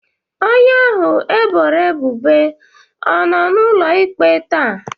Onye ahụ e boro ebubo ọ nọ n'ụlọ ikpe taa?